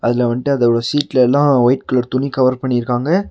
அதில வந்ட்டு அதோட சீட்லெல்லா ஒயிட் கலர் துணி கவர் பண்ணிருக்காங்க.